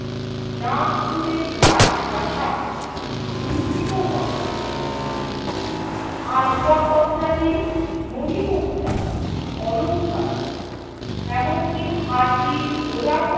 নাগপুরের রাজপ্রাসাদ লুণ্ঠিত হয় । আসবাবপত্রাদি, মণিমুক্তা, অলংকার এমনকি হাতি ঘোড়া